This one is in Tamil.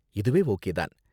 இதுவே ஓகே தான்.